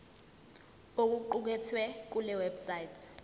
okuqukethwe kule website